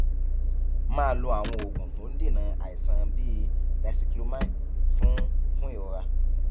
máa lo àwọn oògùn tó ń dènà àìsàn bíi dicyclomine fún fún ìrora